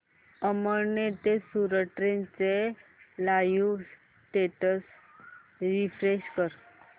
अमळनेर ते सूरत ट्रेन चे live status refresh कर